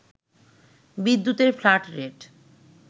বিদ্যুতের flat rate